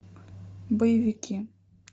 боевики